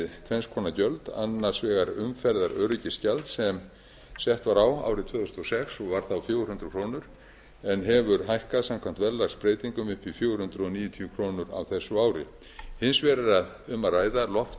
tvenns konar gjöld annars vegar umferðaröryggisgjald sem sett var á árið tvö þúsund og sex og var þá fjögur hundruð krónur en hefur hækkað samkvæmt verðlagsbreytingum upp í fjögur hundruð níutíu krónur á þessu ári hins vegar er um að ræða